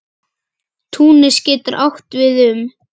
Túnis getur átt við um